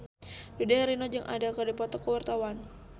Dude Herlino jeung Adele keur dipoto ku wartawan